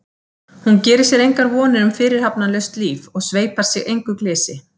Hún gerir sér engar vonir um fyrirhafnarlaust líf og sveipar sig engu glysi.